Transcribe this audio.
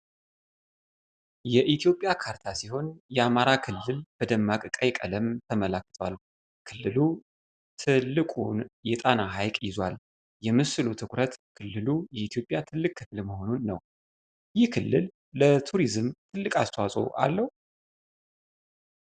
የኢትዮጵያ ካርታ ሲሆን፣ የአማራ ክልል በደማቅ ቀይ ቀለም ተመልክቷል። ክልሉ ትልቁን የጣና ሐይቅ ይዟል። የምስሉ ትኩረት ክልሉ የኢትዮጵያ ትልቅ ክፍል መሆኑን ነው። ይህ ክልል ለቱሪዝም ትልቅ አስተዋፅዖ አለው?